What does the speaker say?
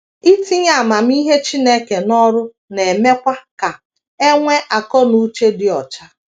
Itinye amamihe Chineke n’ọrụ na - emekwa ka e nwee akọ na uche dị ọcha.